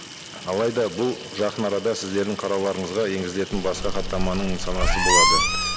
алайда бұл жақын арада сіздердің қарауларыңызға енгізілетін басқа хаттаманың нысанасы болады